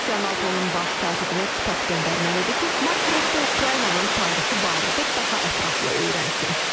Rusiya NATO-nun baş katibinə kitab göndərməlidir ki, Mark Rutte Ukraynanın tarixi barədə daha ətraflı öyrənsin.